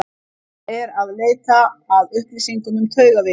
Ég er eð leita að upplýsingum um taugaveiki.